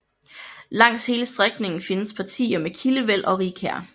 Langs hele strækningen findes partier med kildevæld og rigkær